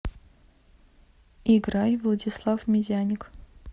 играй владислав медяник